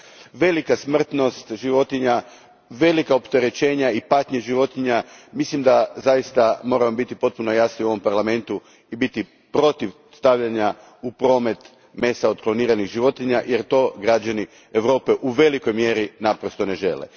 Zbog velike smrtnosti životinja, velikih opterećenja i patnje životinja, mislim da zaista moramo biti potpuno jasni u ovom Parlamentu i biti protiv stavljanja u promet mesa od kloniranih životinja jer to građani Europe u velikoj mjeri naprosto ne žele.